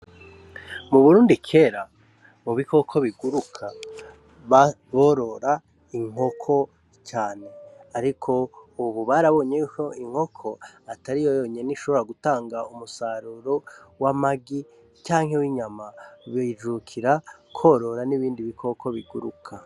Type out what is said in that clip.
Mu Burundi kera, mu bikoko biguruka borora inkoko cane ariko ubu barabonye yuko inkoko atariyo yonyene ishobora gitanga umusaruro w'amagi canke w'inyama. Tukijukira kworora n'ibindi biguruka.